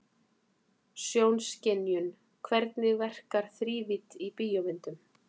Sjónskynjun Hvernig verkar þrívídd í bíómyndum?